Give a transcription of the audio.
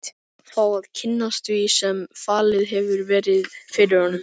Fá að kynnast því sem falið hefur verið fyrir honum.